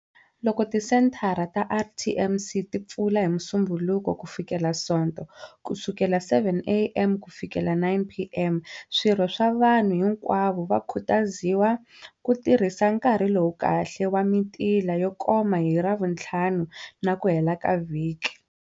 Loko tisenthara ta RTMC ti pfula hi Musumbhunuko kufikela Nsoto kusukela 7am kufikela 9pm, swirho swa vanhu hinkwavo va khutaziwa ku tirhisa nkarhi lowu kahle wa mitila yo koma hi Ravutlhanu na ku hela ka vhiki.